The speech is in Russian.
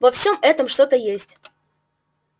во всём этом что-то есть